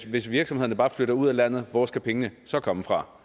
hvis virksomhederne bare flytte ud af landet hvor skal pengene så komme fra